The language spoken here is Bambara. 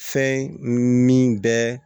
Fɛn min bɛ